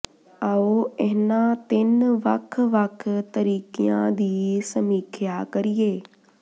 ਆਉ ਇਹਨਾਂ ਤਿੰਨ ਵੱਖ ਵੱਖ ਤਰੀਕਿਆਂ ਦੀ ਸਮੀਖਿਆ ਕਰੀਏ